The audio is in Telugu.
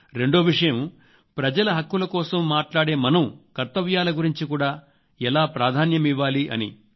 రెండో విషయం ప్రజల హక్కుల కోసం మాట్లాడే మనం కర్తవ్యాల గురించి కూడా ఎలా ప్రాధాన్యమివ్వాలి అని